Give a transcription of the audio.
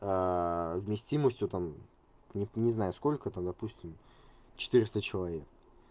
вместимостью там не не знаю сколько там допустим четыреста человек